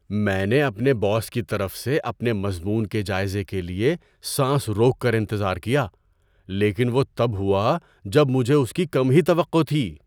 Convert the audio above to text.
میں نے اپنے باس کی طرف سے اپنے مضمون کے جائزے کے لیے سانس روک کر انتظار کیا، لیکن وہ تب ہوا جب مجھے اس کی کم ہی توقع تھی۔